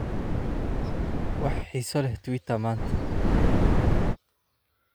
wax xiiso leh twitter maanta